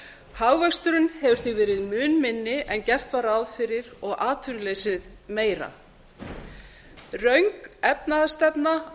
hagvöxturinn hefur því verið mun minni en gert var ráð fyrir og atvinnuleysið meira röng efnahagsstefna